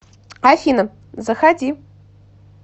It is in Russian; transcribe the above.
афина заходи